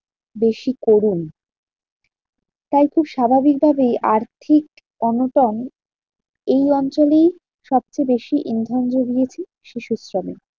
বেশি করুন। তাই তো স্বাভাবিক ভাবেই আর্থিক অনটন এই অঞ্চলেই সবচেয়ে বেশি ইন্ধন জুগিয়েছে শিশু শ্রমে।